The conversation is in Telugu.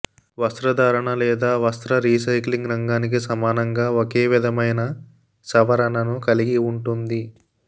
వస్త్రధారణ లేదా వస్త్ర రీసైక్లింగ్ రంగానికి సమానంగా ఒకే విధమైన సవరణను కలిగి ఉంటుంది